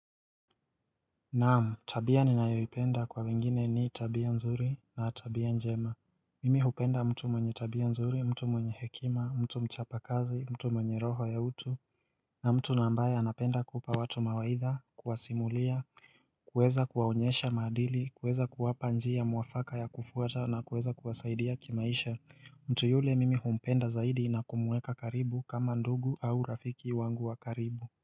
Naam tabia ninayoipenda kwa wengine ni tabia nzuri na tabia njema Mimi hupenda mtu mwenye tabia nzuri mtu mwenye hekima mtu mchapa kazi mtu mwenye roho ya utu na mtu na ambaye anapenda kupa watu mawaidha kuwasimulia kuweza kuwaonyesha maadili kuweza kuwapa njia mwafaka ya kufuata na kuweza kuwasaidia kimaisha mtu yule mimi humpenda zaidi na kumuweka karibu kama ndugu au rafiki wangu wa karibu.